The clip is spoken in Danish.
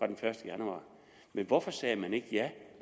den første januar men hvorfor sagde man ikke ja